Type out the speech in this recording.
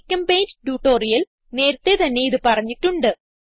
ഗ്ചെമ്പെയിന്റ് tutorial നേരത്തേ തന്നെ ഇത് പറഞ്ഞിട്ടുണ്ട്